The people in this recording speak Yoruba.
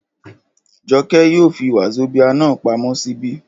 Jọkẹ́ yóò fi wazobia náà pamọ́ ṣíbí